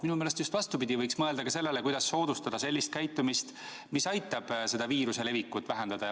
Minu meelest on just vastupidi, võiks mõelda ka sellele, kuidas soodustada sellist käitumist, mis aitaks viiruse levikut vähendada.